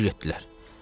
Necə getdilər?